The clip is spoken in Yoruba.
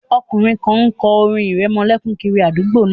Ọkùnrin kan kọ orin ìrẹmọlẹ́kún kiri àdúgbò náà